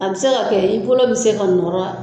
A bɛ se ka kɛ i bolo bɛ se ka nɔgɔya.